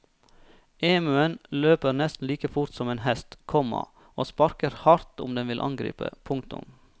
Emuen løper nesten like fort som en hest, komma og sparker hardt om den vil angripe. punktum